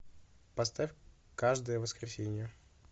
поставь каждое воскресенье